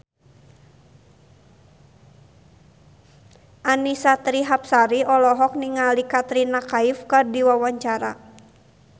Annisa Trihapsari olohok ningali Katrina Kaif keur diwawancara